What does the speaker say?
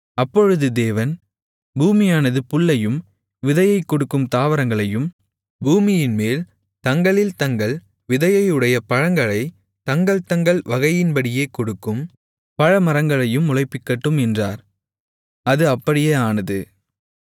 அப்பொழுது தேவன் பூமியானது புல்லையும் விதையைக் கொடுக்கும் தாவரங்களையும் பூமியின்மேல் தங்களில் தங்கள் விதையையுடைய பழங்களைத் தங்கள் தங்கள் வகையின்படியே கொடுக்கும் பழமரங்களையும் முளைப்பிக்கட்டும் என்றார் அது அப்படியே ஆனது